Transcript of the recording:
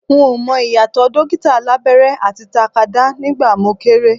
N ò mọ ìyàtọ̀ dókítà alábẹ́rẹ́ àti takadá nígbà mo kéré